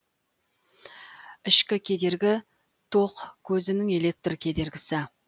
ішкі кедергі ток козінің электр кедергісі